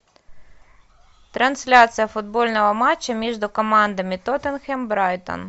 трансляция футбольного матча между командами тоттенхэм брайтон